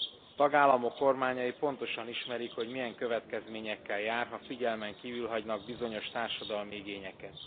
A tagállamok kormányai pontosan ismerik, hogy milyen következményekkel jár, ha figyelmen kívül hagynak bizonyos társadalmi igényeket.